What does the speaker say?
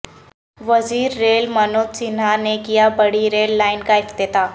وزیرریل منوج سنہا نے کیا بڑی ریل لائن کا افتتاح